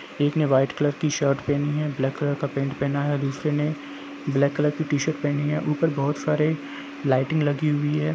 एक ने white colour की शर्ट पहेनी है ब्लेक कलर का पेंट पहना है दूसरे ने ब्लेक कलर की टी शर्ट पहेनी हैं ऊपर बहोत सारे लाइटिंग लगी हुई हैं।